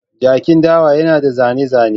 Jakin dawa yana da zane-zane.